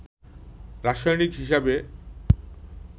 রাসায়সিক হিসেবে